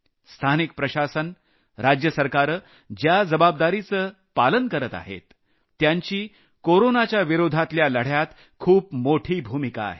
स्थानिक प्रशासन राज्य सरकारं ज्या जबाबदारीचं पालन करत आहेत त्यांची कोरोनाच्याविरोधातल्या लढ्यात खूप मोठी भूमिका आहे